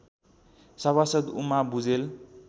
सभासद् उमा भुजेल